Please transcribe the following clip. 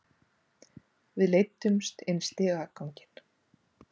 Við leiddumst inn í stigaganginn.